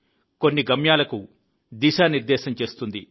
కొన్ని గమ్యాలకు దిశానిర్దేశం చేస్తుంది